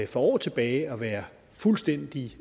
for år tilbage at være fuldstændig